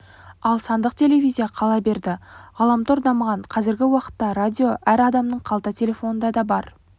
ал сандық телевизия қала берді ғаламтор дамыған қазіргі уақытта радио әр адамның қалта телефонында да бар